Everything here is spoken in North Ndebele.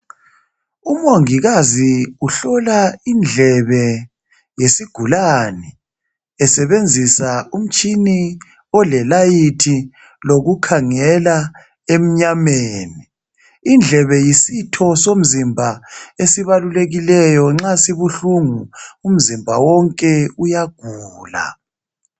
Umongikazi uhlola indlebe yesigulane esebenzisa umtshina olelayithi lokukhangela emnyameni indlebe yisitho somzimba esibalulekileyo nxa sibuhlungu umzimba wonke uyagula.